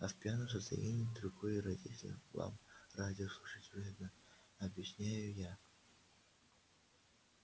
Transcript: а в пьяном состоянии дорогой родитель вам радио слушать вредно объясняю я